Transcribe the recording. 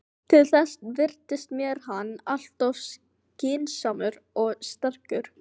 Til þess virtist mér hann alltof skynsamur og sterkur.